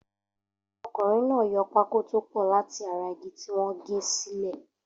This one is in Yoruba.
Okùnrin náà yo pákó tó pọ̀ láti ara igi tí wọ́n gẹ́ sílẹ̀.